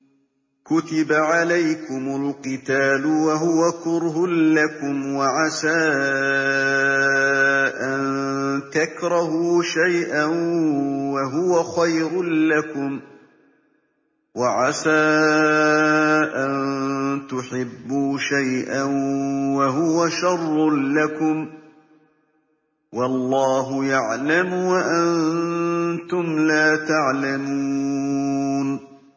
كُتِبَ عَلَيْكُمُ الْقِتَالُ وَهُوَ كُرْهٌ لَّكُمْ ۖ وَعَسَىٰ أَن تَكْرَهُوا شَيْئًا وَهُوَ خَيْرٌ لَّكُمْ ۖ وَعَسَىٰ أَن تُحِبُّوا شَيْئًا وَهُوَ شَرٌّ لَّكُمْ ۗ وَاللَّهُ يَعْلَمُ وَأَنتُمْ لَا تَعْلَمُونَ